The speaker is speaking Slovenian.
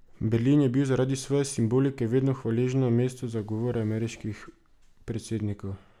Berlin je bil zaradi svoje simbolike vedno hvaležno mesto za govore ameriških predsednikov.